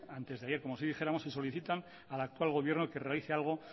antes de ayer como si dijéramos y solicitan al actual gobierno que realice algo